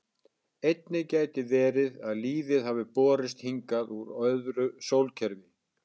Einnig gæti verið að lífið hafi borist hingað úr öðru sólkerfi.